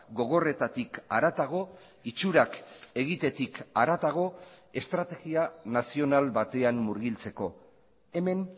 gogorretatik haratago itxurak egitetik haratago estrategia nazional batean murgiltzeko hemen